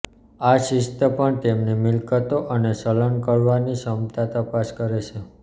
આ શિસ્ત પણ તેમની મિલકતો અને ચલન કરવાની ક્ષમતા તપાસ કરે છે